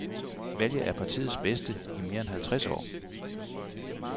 Valget er partiets bedste i mere end halvtreds år.